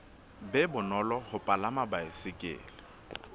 be bonolo ho palama baesekele